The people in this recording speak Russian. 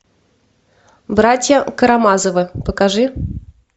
братья карамазовы покажи